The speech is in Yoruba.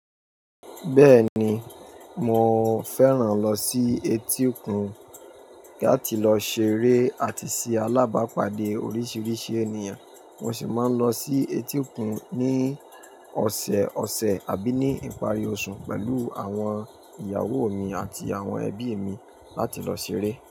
Bẹ́ẹ̀ni, mo fẹ́ràn lọ sí etí òkun láti lọ ṣeré àti sí alábàápàdé oríṣiríṣi ènìyàn. Mo sì máa ń lọ sí etí òkun ní ọ̀sẹ̀ọ̀sẹ̀ àbí ní ìparí oṣù pẹ̀lú àwọn ìyàwó mi àti àwọn ẹbí mi láti lọ ṣeré.